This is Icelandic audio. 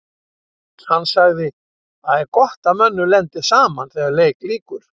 Hann sagði: Það er gott að mönnum lendi saman þegar leik lýkur.